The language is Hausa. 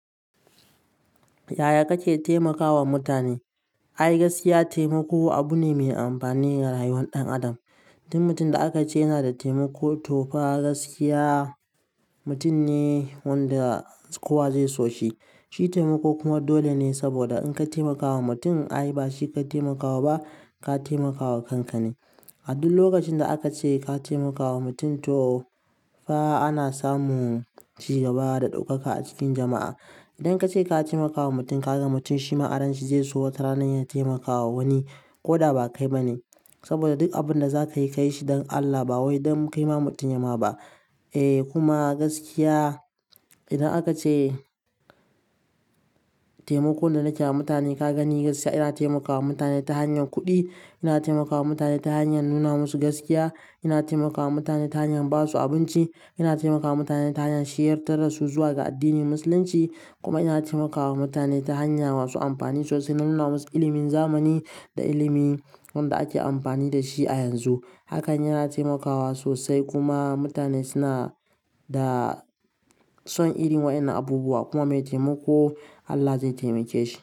Yaya kake taimakawa mutane? Ai, gaskiya taimako abu ne mai amfani ga rayuwar ɗan adam. Duk mutum da aka ce yana da taimako to fa gaskiya mutum ne wanda kowa zai so shi. Shi taimako kuma dole ne saboda in ka taimakawa mutum, ai ba shi ka taimakawa ba ka taimakawa kanka ne. A duk lokacin da aka ce ka taimakawa mutum to fa ana samu ci gaba da ɗaukaka a cikin jama'a. Idan ka ce ka taimakawa mutum ka ga mutum shima a ran shi zai so wata rana ya taimakawa wani ko da ba kai ba ne. Saboda duk abin da za ka yi, ka yi shi don Allah ba wai don ka yi ma mutum yama ba. Eh kuma gaskiya idan aka ce taimakon da nake wa mutane ka gani gaskiya ina taimakawa mutane ta hanyar kuɗi, ina taimakawa mutane ta hanyar nuna musu gaskiya, ina taimakawa mutane ta hanyar ba su abinci, ina taimakawa mutane ta hanyar shiryar da su zuwa ga addinin Musulunci kuma ina taimakawa mutane ta hanya masu amfani sosai na nuna musu ilimin zamani da ilimin wanda ake amfani da shi a yanzu. Hakan yana taimakawa sosai kuma mutane suna da son irin waɗannan abubuwa. Kuma mai taimako Allah zai taimake shi.